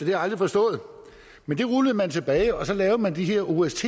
jeg aldrig forstået men det rullede man tilbage og så lavede man de her ost